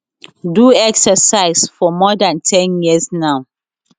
do exercise for more dan ten years now